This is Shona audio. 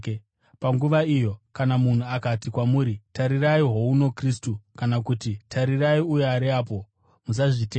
Panguva iyo kana munhu akati kwamuri, ‘Tarirai, houno Kristu!’ kana kuti, ‘Tarirai, uyo ari apo!’ musazvitenda.